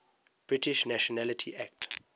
british nationality act